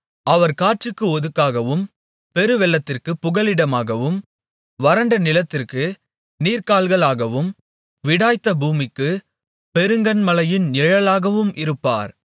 அவர் காற்றுக்கு ஒதுக்காகவும் பெருவெள்ளத்திற்குப் புகலிடமாகவும் வறண்ட நிலத்திற்கு நீர்க்கால்களாகவும் விடாய்த்த பூமிக்குப் பெருங்கன்மலையின் நிழலாகவும் இருப்பார்